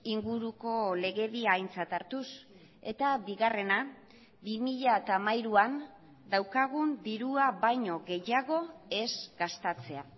inguruko legedia aintzat hartuz eta bigarrena bi mila hamairuan daukagun dirua baino gehiago ez gastatzea